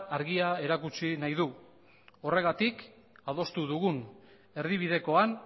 argia erakutsi nahi du horregatik adostu dugun erdibidekoan